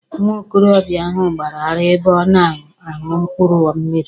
Nwa okorobịa ahụ gbara ara ebe ọ na-aṅụ mkpụrụ mmịrị.